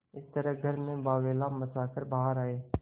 इस तरह घर में बावैला मचा कर बाहर आये